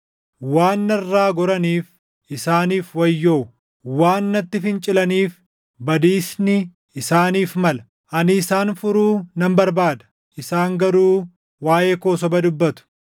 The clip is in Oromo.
Waan narraa goraniif isaaniif wayyoo! Waan natti fincilaniif badiisni isaaniif mala! Ani isaan furuu nan barbaada; isaan garuu waaʼee koo soba dubbatu.